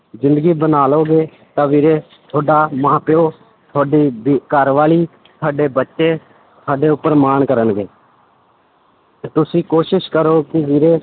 ਜ਼ਿੰਦਗੀ ਬਣਾ ਲਓਗੇ ਤਾਂ ਵੀਰੇ ਤੁਹਾਡਾ ਮਾਂ ਪਿਓ, ਤੁਹਾਡੀ ਵੀ ਘਰਵਾਲੀ ਤੁਹਾਡੇ ਬੱਚੇ ਤੁਹਾਡੇ ਉੱਪਰ ਮਾਣ ਕਰਨਗੇ ਤੇ ਤੁਸੀਂ ਕੋਸ਼ਿਸ਼ ਕਰੋ ਕਿ ਵੀਰੇ